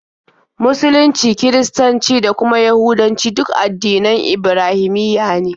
Musulunci, Kiristanci, da kuma Yahudancu duk addinan Ibrahimiyya ne.